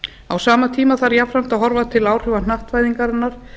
á sama tíma þarf jafnframt að horfa til áhrifa hnattvæðingarinnar